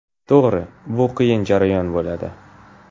To‘g‘ri, bu qiyin jarayon bo‘ladi.